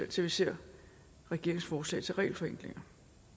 til vi ser regeringens forslag til regelforenklinger